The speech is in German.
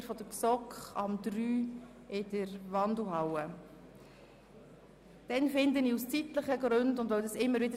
Die Mitglieder der GSoK sind also gebeten, sich um 15.00 Uhr in der Wandelhalle einzufinden.